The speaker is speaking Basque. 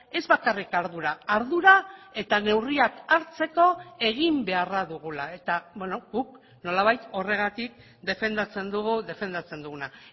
ez bakarrik ardura ardura eta neurriak hartzeko egin beharra dugula eta guk nolabait horregatik defendatzen dugu defendatzen duguna